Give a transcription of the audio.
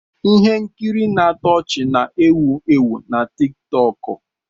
Ihe nkiri na-atọ ọchị na-ewu ewu na tiktoku